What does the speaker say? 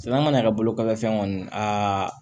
Sɛnɛ mana kɛ bolo kɔfɛ fɛn kɔni